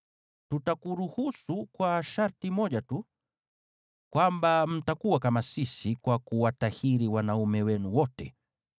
Tutakuruhusu kwa sharti moja tu, kwamba mtakuwa kama sisi kwa kuwatahiri wanaume wenu wote.